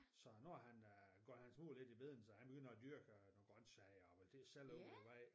Så nu har han øh nu går hans hoved lidt i bedene så han begynder at dyrke nogle grøntsager og det sælger ude ved vejen